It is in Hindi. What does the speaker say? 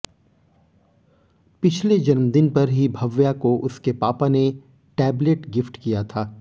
पिछले जन्मदिन पर ही भव्या को उसके पापा ने टैबलेट गिफ्ट किया था